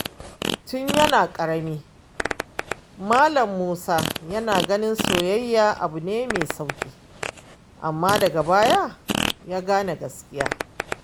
Tun yana ƙarami, Malam Musa yana ganin soyayya abu ne mai sauƙi, amma daga baya ya gane gaskiya.